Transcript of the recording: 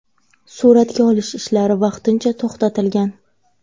Suratga olish ishlari vaqtincha to‘xtatilgan.